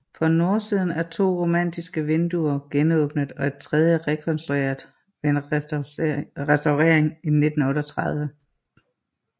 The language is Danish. På nordsiden er to romanske vinduer genåbnet og et tredje rekonstrueret ved en restaurering i 1938